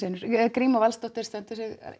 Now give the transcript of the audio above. gríma Valsdóttir stendur sig